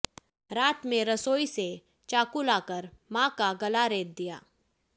रात में रसोई से चाकू लाकर मां का गला रेत दिया